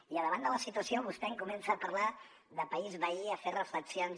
i davant de la situació vostè em comença a parlar de país veí a fer reflexions